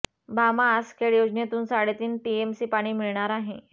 भामा आसखेड योजनेतून साडेतीन टीएमसी पाणी मिळणार आहे